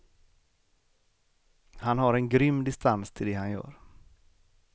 Han har en grym distans till det han gör.